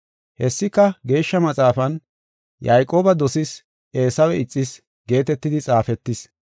Hessika Geeshsha Maxaafan, “Yayqooba dosas, Eesawe ixas” geetetidi xaafetis.